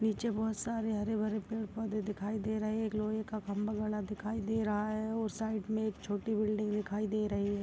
नीचे बोहोत सारे पेड़-पौधे दिखाई दे रहे हैं। एक लोहे का खंबा गढ़ा दिखाई दे रहा है और साइड में एक छोटी बिल्डिंग दिखाई दे रही है।